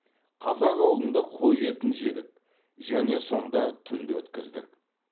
қазақ ауылында қой етін жедік және сонда түнді өткіздік